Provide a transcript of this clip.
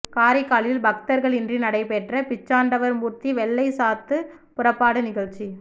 காரைக்காலில் பக்தர்களின்றி நடைபெற்ற பிச்சாண்டவர் மூர்த்தி வெள்ளை சாத்து புறப்பாடு நிகழ்ச்சி